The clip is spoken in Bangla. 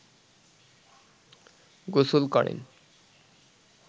গোসল করেন